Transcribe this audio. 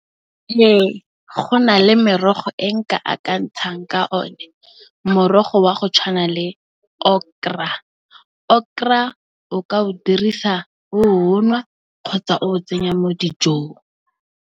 Ee go na le merogo e nka a ka ntshang ka o ne morogo wa go tshwana le okra, okra o ka o dirisa o o nwa kgotsa o tsenya mo dijong.